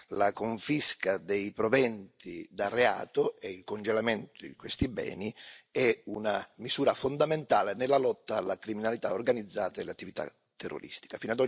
La confisca dei proventi da reato e i congelamenti di questi beni è una misura fondamentale nella lotta alla criminalità organizzata e all'attività terroristica.